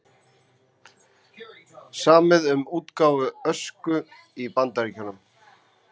Samið um útgáfu Ösku í Bandaríkjunum